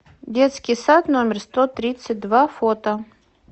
детский сад номер сто тридцать два фото